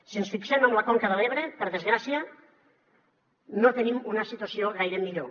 si ens fixem en la conca de l’ebre per desgràcia no tenim una situació gaire millor